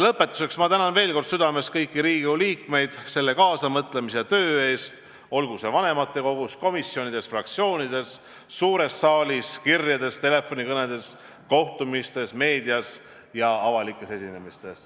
Lõpetuseks tänan veel kord südamest kõiki Riigikogu liikmeid kaasamõtlemise ja töö eest, olgu siis vanematekogus, komisjonides, fraktsioonides, suures saalis, kirjade ja telefonikõnede kaudu, kohtumistel, meedias ja avalikel esinemistel.